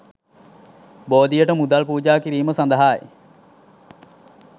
බෝධියට මුදල් පූජා කිරීම සඳහායි.